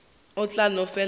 o tla no fela a